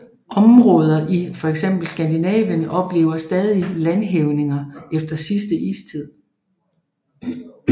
Områder i fx Skandinavien oplever stadig landhævninger efter sidste istid